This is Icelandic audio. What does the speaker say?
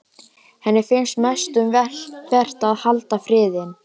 Henni finnst mest um vert að halda friðinn.